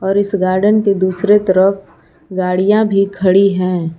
और इस गार्डन के दूसरे तरफ गाड़ियां भी खड़ी हैं।